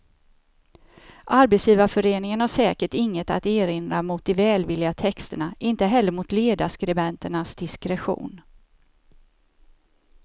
Arbetsgivarföreningen har säkert inget att erinra mot de välvilliga texterna, inte heller mot ledarskribenternas diskretion.